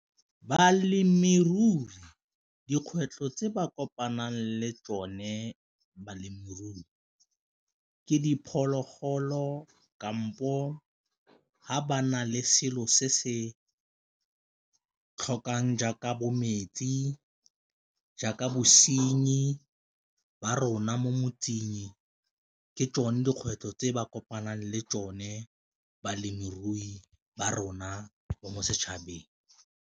Balemirui dikgwetlho tse ba kopanang le tsone balemirui ke diphologolo kampo ga ba na le selo se se tlhokang jaaka bo metsi, jaaka bosenyi ba rona mo motseng ke tsone dikgwetlho tse ba kopanang le tsone balemirui ba rona mo setšhabeng.